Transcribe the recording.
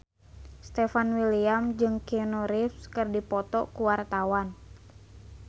Stefan William jeung Keanu Reeves keur dipoto ku wartawan